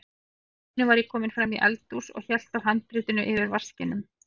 Allt í einu var ég kominn fram í eldhús og hélt á handritinu yfir vaskinum.